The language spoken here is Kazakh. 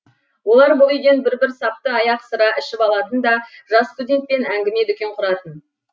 олар бұл үйден бір бір сапты аяқ сыра ішіп алатын да жас студентпен әңгіме дүкен құратын